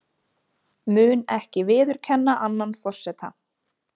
Mun ekki viðurkenna annan forseta